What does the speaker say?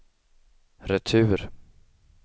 retur